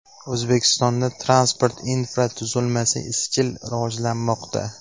O‘zbekistonda transport infratuzilmasi izchil rivojlanmoqda.